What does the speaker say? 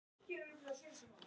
Þeir gátu þetta.